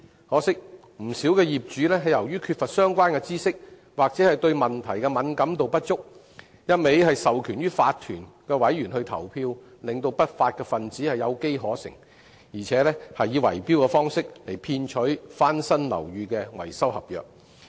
可惜，不少業主由於缺乏相關知識或對問題敏感度不足，只一味授權法團委員投票，令不法分子有機可乘，更以圍標方式騙取翻新樓宇的維修合約。